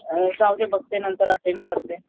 जाऊदे बघते नंतर अटेंड करते.